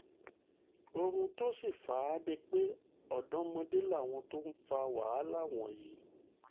ohun tó sì fà á ni pé ọ̀dọ́mọdé làwọn tó ń fa wàhálà wọ̀nyí